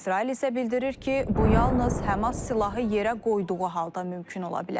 İsrail isə bildirir ki, bu yalnız Həmas silahı yerə qoyduğu halda mümkün ola bilər.